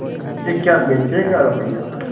मुझे क्या बेचेगा रुपय्या